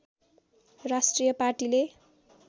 राष्ट्रिय पार्टीले